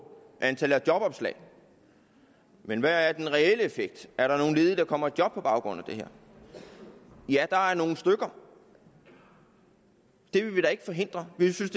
antallet af jobopslag men hvad er den reelle effekt er der nogen ledige der kommer i job på baggrund af det her ja der er nogle stykker det vil vi da ikke forhindre vi synes